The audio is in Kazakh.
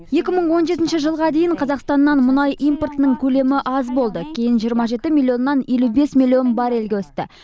екі мың он жетінші жылға дейін қазақстаннан мұнай импортының көлемі аз болды кейін жиырма жеті миллионнан елу бес миллион баррельге өсті